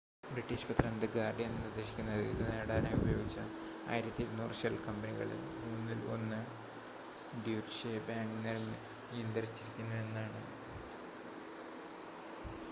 British പത്രം the Guardian നിർദ്ദേശിക്കുന്നത് ഇത് നേടാനായി ഉപയോഗിച്ച 1200 ഷെൽ കമ്പനികളിൽ മൂന്നിൽ ഒന്ന് ഡ്യൂറ്റ്ഷെ ബാങ്ക് നിയന്ത്രിച്ചിരുന്നു എന്നാണ്